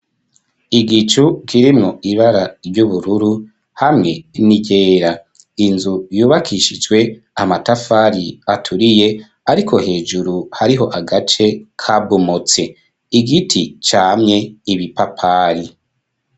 Igicu kirimwo ibara ry'ubururu hamwe n'iryera inzu yubakishijwe amatafari aturiye ariko hejuru hariho agace kabomotse igiti camye ibipapayi.